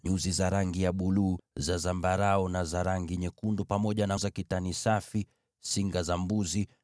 nyuzi za rangi ya buluu, za zambarau, za rangi nyekundu, pamoja na kitani safi; singa za mbuzi;